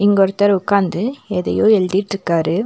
இங்க ஒருத்தர் உக்காந்து எதையோ எழுதிட்ருக்காரு.